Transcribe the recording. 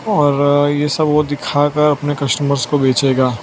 और ये सब वो दिखाकर अपने कस्टमर्स को बेचेगा --